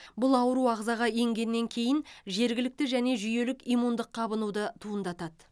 бұл ауру ағзаға енгеннен кейін жергілікті және жүйелік иммундық қабынуды туындатады